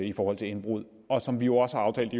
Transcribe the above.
i forhold til indbrud og som vi jo også har aftalt